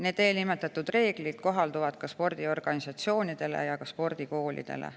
Need kohalduvad ka spordiorganisatsioonidele ja spordikoolidele.